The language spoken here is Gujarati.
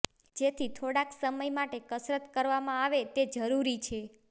જેથી થોડાક સમય માટે કસરત કરવામાં આવે તે જરૂરી છે